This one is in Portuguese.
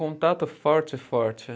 Contato forte, forte.